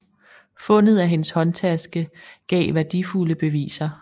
Fundet af hendes håndtaske gav værdifulde beviser